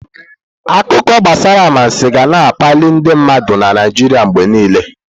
Akụkọ gbasara anwansi ga na-akpalị ndị mmadụ na Naijiria mgbe niile.